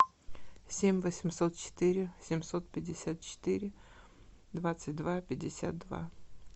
семь восемьсот четыре семьсот пятьдесят четыре двадцать два пятьдесят два